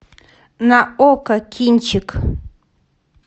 на окко кинчик